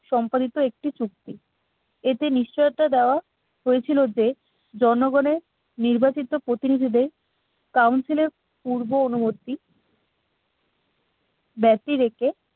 সম্পাদিত একটি চুক্তি এতে নিশ্চয়তা দেওয়া হয়েছিল যে জনগণের নির্বাচিত প্রতিনিধিদের council এর পূর্ব অনুভূতি ব্যাতি রেখে